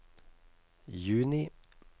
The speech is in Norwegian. juni